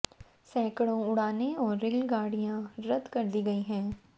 सैकड़ों उड़ानें और रेल गाड़ियां रद्द कर दी गई हैं